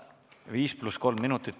Viis pluss kolm minutit.